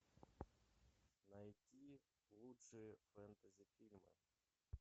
найти лучшие фэнтези фильмы